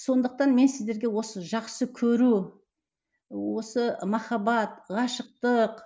сондықтан мен сіздерге осы жақсы көру осы махаббат ғашықтық